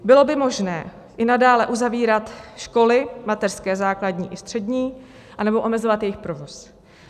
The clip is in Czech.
Bylo by možné i nadále uzavírat školy, mateřské, základní i střední, anebo omezovat jejich provoz.